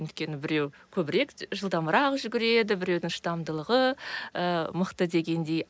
өйткені біреу көбірек жылдамырақ жүгіреді біреудің шыдамдылығы ы мықты дегендей